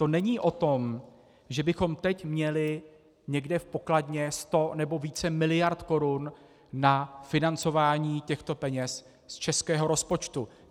To není o tom, že bychom teď měli někde v pokladně 100 nebo více miliard korun na financování těchto peněz z českého rozpočtu.